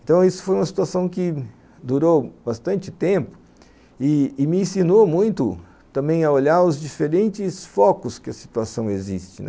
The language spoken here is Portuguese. Então, isso foi uma situação que durou bastante tempo e me ensinou muito também a olhar os diferentes focos que a situação existe.